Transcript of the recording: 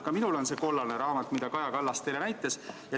Ka minul on see kollane raamat, mida Kaja Kallas teile näitas.